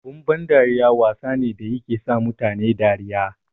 Abun ban dariya wasa ne da yake sa mutane dariya.